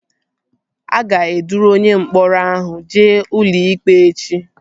A ga-eduru onye mkpọrọ ahụ jee ụlọikpe echi